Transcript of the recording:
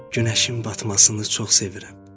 Günəşin batmasını çox sevirəm.